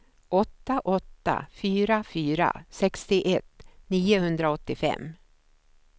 åtta åtta fyra fyra sextioett niohundraåttiofem